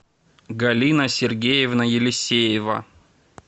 галина сергеевна елисеева